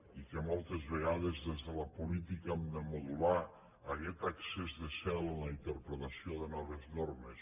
i que moltes vegades des de la política hem de modular aguest excés de zel en la interpretació de noves normes